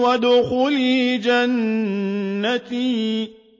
وَادْخُلِي جَنَّتِي